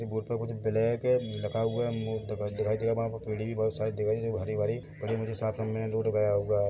ये बॉर्ड पर कुछ ब्लैक है लिखा हुआ है मू टका दिखाई दे रहा वहाँ पर पेड़ें भी बहोत सारे दिखाई दे हरे-भरे और ये मुझे साफ-साफ मेन रोड गया हुआ है।